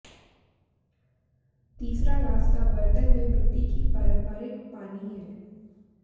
तीसरा रास्ता बर्तन में मिट्टी की पारंपरिक पानी है